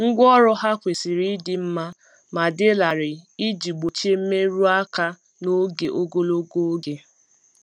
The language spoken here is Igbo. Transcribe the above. Ngwa ọrụ ha kwesiri ịdị mma ma dị larịị iji gbochie mmerụ aka n'oge ogologo oge.